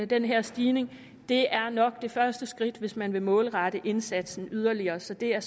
den her stigning det er nok det første skridt hvis man vil målrette indsatsen yderligere så det er